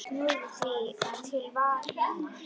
Snúumst því til varnar!